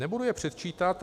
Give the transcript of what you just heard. Nebudu je předčítat.